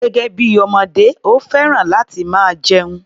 Gẹ́gẹ́ bí ọmọdé, ó fẹ́ràn láti máa jẹun.